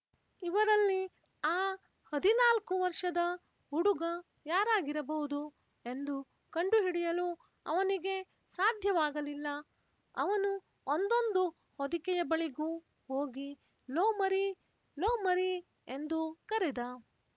ಇವರಲ್ಲಿ ಆ ಹದಿನಾಲ್ಕು ವರ್ಷದ ಹುಡುಗ ಯಾರಾಗಿರಬಹುದು ಎಂದು ಕಂಡು ಹಿಡಿಯಲು ಅವನಿಗೆ ಸಾಧ್ಯವಾಗಲಿಲ್ಲ ಅವನು ಒಂದೊಂದು ಹೊದಿಕೆಯ ಬಳಿಗೂ ಹೋಗಿ ಲೋ ಮರೀ ಲೋ ಮರೀ ಎಂದು ಕರೆದ